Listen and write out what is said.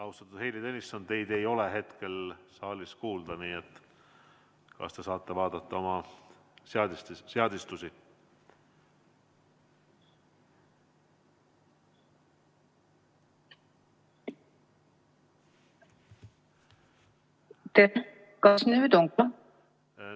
Austatud Heili Tõnisson, teid ei ole hetkel saalis kuulda, nii et kas te saate vaadata oma seadistusi?